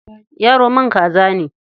Yaro man kaza ne.